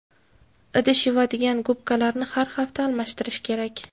Idish yuvadigan gubkalarni har hafta almashtirish kerak.